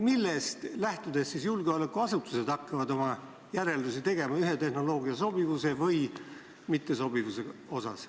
Millest lähtudes siis julgeolekuasutused hakkavad oma järeldusi ühe tehnoloogia sobivuse või mittesobivuse kohta tegema?